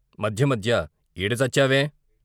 మధ్యమధ్య ఈడ చచ్చావేం!